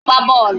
Ọ na-agba bọọlụ